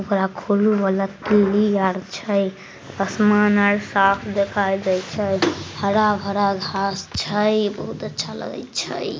ओकरा खोलू वाला किल्ली आर छै असमान आर साफ देखाय दय छै हरा-भरा घास छै बहुत अच्छा लगय छै।